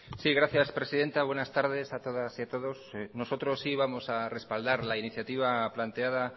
sí gracias presidenta buenas tardes a todas y a todos nosotros sí vamos a respaldar la iniciativa planteada